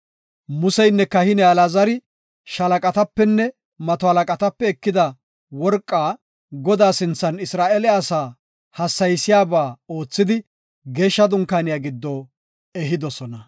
Museynne kahiney Alaazari shalaqatapenne mato halaqatape ekida worqa Godaa sinthan Isra7eele asaa hassayisiyaba oothidi geeshsha dunkaaniya giddo ehidosona.